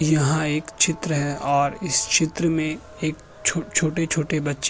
यहाँ एक चित्र है और इस चित्र में एक छोटे-छोटे बच्चे --